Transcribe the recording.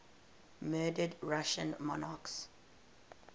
murdered russian monarchs